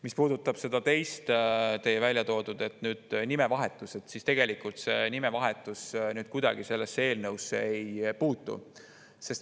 Mis puudutab seda teie väljatoodut nimevahetust, siis tegelikult see nimevahetus kuidagi sellesse eelnõusse ei puutu.